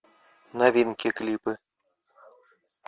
новинки клипы